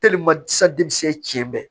tiɲɛ bɛɛ